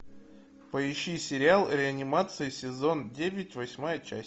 поищи сериал реанимация сезон девять восьмая часть